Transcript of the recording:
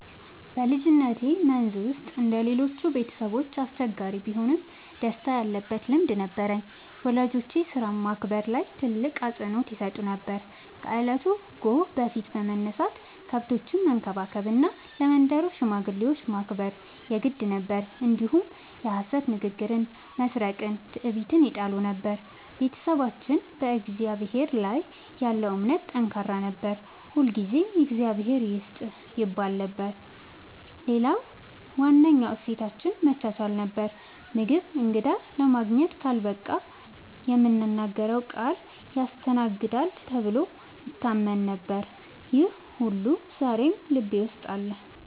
በልጅነቴ መንዝ ውስጥ እንደ ሌሎቹ ቤተሰቦች አስቸጋሪ ቢሆንም ደስታ ያለበት ልምድ ነበረኝ። ወላጆቼ ሥራን ማክበር ላይ ትልቅ አፅንዖት ይሰጡ ነበር፤ ከእለቱ ጎህ በፊት መነሳት፣ ከብቶችን መንከባከብ እና ለመንደሩ ሽማግሌዎች ማክበር የግድ ነበር። እንዲሁም የሐሰት ንግግርን፣ መስረቅንና ትዕቢትን ይጠሉ ነበር። ቤተሰባችን በእግዚአብሔር ላይ ያለው እምነት ጠንካራ ነበር፤ ሁልጊዜ “እግዚአብሔር ይስጥህ” ይባል ነበር። ሌላው ዋነኛ እሴታችን መቻቻል ነበር፤ ምግብ እንግዳ ለማግኘት ካልበቃ የምናገረው ቃል ያስተናግዳል ተብሎ ይታመን ነበር። ይህ ሁሉ ዛሬም ልቤ ውስጥ አለ።